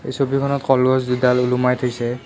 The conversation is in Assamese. ছবিখনত কল গছ দুডাল ওলোমাই থৈছে।